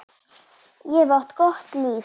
Ég hef átt gott líf.